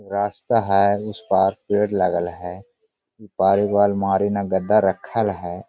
रास्ता है उसपार पेड़ लगल है ई पार एक गो आलमारी में गद्दा रखल है।